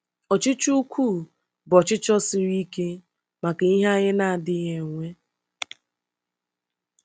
Ọchịchọ ukwuu bụ ọchịchọ siri ike maka ihe anyị na-adịghị enwe.